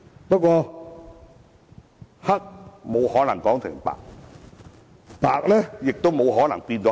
不過，黑是沒有可能說成白，而白亦沒有可能變成黑。